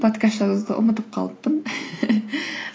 подкаст жазуды ұмытып қалыппын